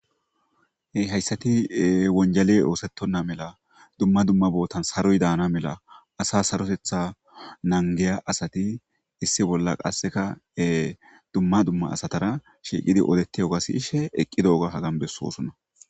hayssati wonjale oosettonna mela dumma dumma bootan saroy daana mela asa sarotetha nangeya asati issi bolla qasseka dumma dumma asatara shiiqidi odettidoga siyishe eqqidooga hagan bessosonna